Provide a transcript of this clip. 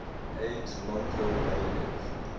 aide milko balev